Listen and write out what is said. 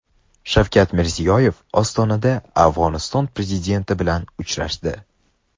Shavkat Mirziyoyev Ostonada Afg‘oniston prezidenti bilan uchrashdi.